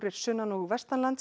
sunnan og